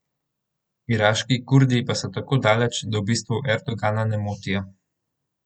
Iraški Kurdi pa so tako daleč, da v bistvu Erdogana ne motijo.